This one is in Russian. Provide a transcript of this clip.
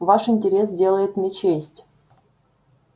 ваш интерес делает мне честь